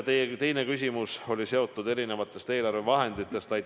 Teie teine küsimus oli erinevate eelarvevahendite kohta.